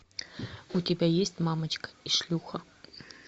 у тебя есть мамочка и шлюха